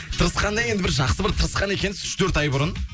тырысқанда енді бір жақсы бір тырысқан екенсіз үш төрт ай бұрын